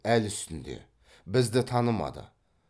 әл үстінде бізді танымады